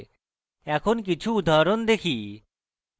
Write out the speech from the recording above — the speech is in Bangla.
এখন কিছু উদাহরণ দেখি